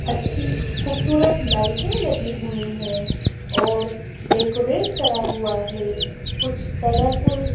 अच्छी खूबसूरत लाइटें लगी हुईं हैं और डेकोरेट करा हुआ हैं कुछ कलरफुल --